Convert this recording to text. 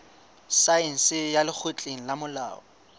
saense ya lekgotleng la molao